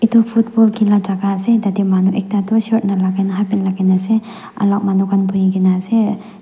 tu football khila jagah ase tatey manu ekta tu shirt nalagai na halfpant lagaina ase alak manu khan buhigena ase.